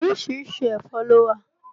Orísìírísìí ẹ̀fọ́ ló wà